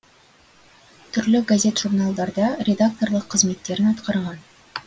түрлі газет журналдарда редакторлық қызметтерін атқарған